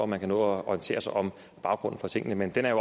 man kan nå at orientere sig om baggrunden for tingene men den